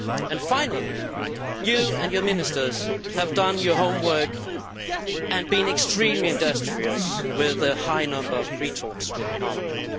And finally, you and your ministers have done your homework and have been extremely industrious, with a high number of preliminary talks with Parliament.